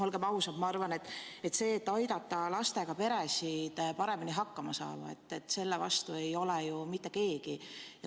Olgem ausad, ma arvan, et selle vastu, et aidata lastega peredel paremini hakkama saada, ei ole ju mitte keegi.